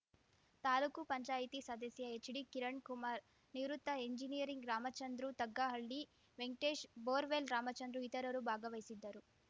ತಾಲೂಕು ಪಂಚಾಯ್ತಿ ಸದಸ್ಯ ಹೆಚ್ಡಿಕಿರಣ್‍ಕುಮಾರ್ ನಿವೃತ್ತ engineering Ramachandru ತಗ್ಗಹಳ್ಳಿ ವೆಂಕ್ಟೇಶ್ borewell Ramachandru ಇತರರು ಭಾಗವಹಿಸಿದ್ದರು